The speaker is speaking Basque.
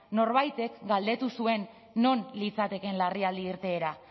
norbaitek galdetu zuen non litzatekeen larrialdi irteera